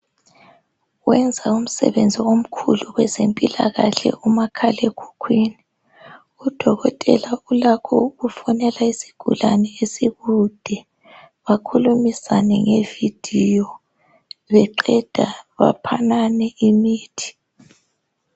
Wenza umsebenzi omkhulu kwezempilakahle umakhala ekhukhwini Udokotela ulakho ukufonela isigulane esikude bakhulumisane nge video Beqeda baphanane imithi